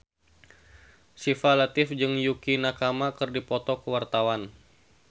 Syifa Latief jeung Yukie Nakama keur dipoto ku wartawan